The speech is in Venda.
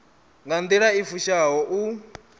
nga nḓila i fushaho u